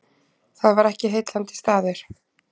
Það var ekki heillandi staður.